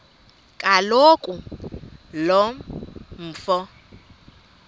kaloku lo mfo